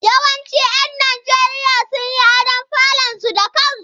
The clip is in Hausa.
Yawancin 'yan Najeriya sun yi adon falunansu da kansu.